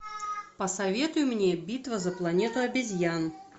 посоветуй мне битва за планету обезьян